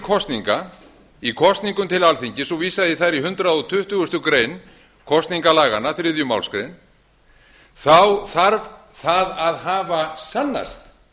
kosninga í kosningum til alþingis og vísað í þær í hundrað tuttugasta greinar kosningalaganna þriðju málsgrein þarf það að hafa sannast